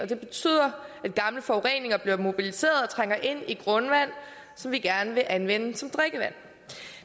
det betyder at gamle forureninger bliver mobiliseret og trænger ind i grundvand som vi gerne vil anvende som drikkevand